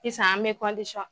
Sisan an bɛ